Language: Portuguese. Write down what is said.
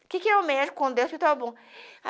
O que que é o médico quando desce